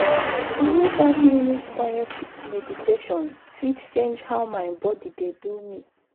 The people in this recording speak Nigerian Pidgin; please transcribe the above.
even five minutes quiet meditation fit change how my body dey do me.